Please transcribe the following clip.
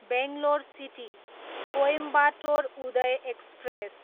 Bangalore city, Coimbatore Uday express